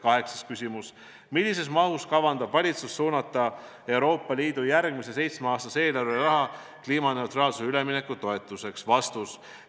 " Kaheksas küsimus: "Millises mahus kavandab valitsus suunata Euroopa Liidu järgmise seitsmeaastase eelarve raha kliimaneutraalsusele ülemineku toetuseks?